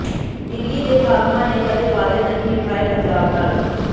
ਦਿੱਲੀ ਦੇ ਹਾਕਮਾਂ ਨੇ ਕਦੇ ਵਾਅਦੇ ਨਹੀਂ ਨਿਭਾਏ ਪੰਜਾਬ ਨਾਲ